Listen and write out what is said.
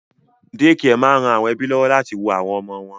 Dékià máa ń ran àwọn ẹ́bí lọ́wọ́ láti wo àwọn ọmọ wọn